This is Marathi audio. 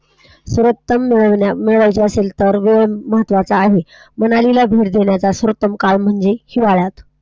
सर्वोत्तम मिळवण्यासाठी असेल तर, दृष्टीकोन महत्वाचा आहे, मनालीला भेट देण्याचा सर्वोत्तम काळ म्हणजे हिवाळा.